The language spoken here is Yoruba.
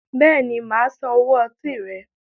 Béèni máa San owó ọtí rẹ